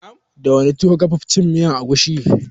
Da wane tuwo ka fi cin miyar agushi?